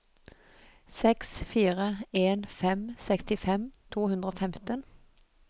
seks fire en fem sekstifem to hundre og femten